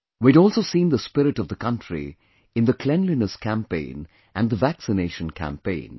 We had also seen the spirit of the country in the cleanliness campaign and the vaccination campaign